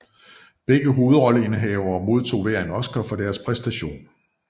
Begge hovedrolleindehavere modtog hver en Oscar for deres præstation